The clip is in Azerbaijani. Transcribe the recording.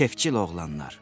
Kefcil oğlanlar.